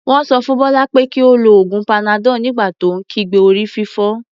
Wọ́n sọ fún Bọ́lá pé kí ó lo oògùn panadol nígbà tó ń kígbe orí-fífọ́.